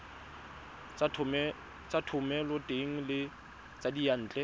tsa thomeloteng le tsa diyantle